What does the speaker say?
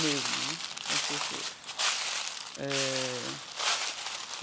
mesmo né, com as pessoas eh.